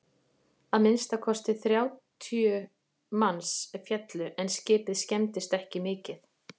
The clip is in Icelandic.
að minnsta kosti þrjátíu manns féllu en skipið skemmdist ekki mikið